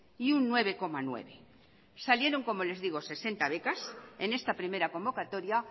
y un nueve coma nueve salieron como les digo sesenta becas en esta primera convocatoria